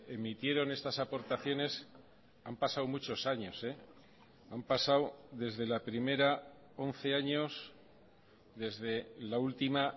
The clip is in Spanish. emitieron estas aportaciones han pasado muchos años han pasado desde la primera once años desde la última